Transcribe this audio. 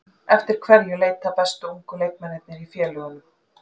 Eftir hverju leita bestu ungu leikmennirnir í félögunum?